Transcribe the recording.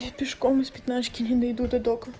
я пешком из пятнашки не дойду до дока